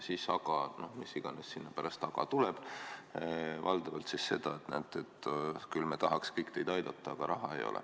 " Mis iganes sinna pärast "aga" tuleb, valdavalt see, et küll me tahaks teid aidata, aga raha ei ole.